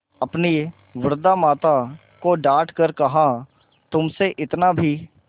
अपनी वृद्धा माता को डॉँट कर कहातुमसे इतना भी